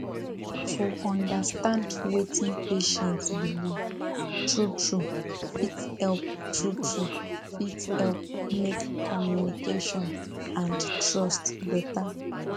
to understand wetin patient believe truetrue fit help truetrue fit help make communication and trust better